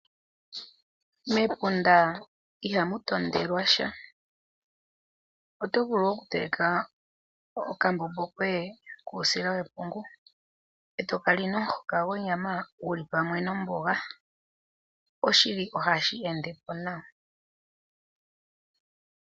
Mepunda ihamu tondelwa sha, oto vulu okuteleka okambombo koye kuusila wepungu eto kali nomuhoka gwonyama guli pamwe nomboga, oshili ohashi ende po nawa.